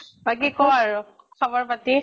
বাকী কʼ আৰু, খবৰ পাতি।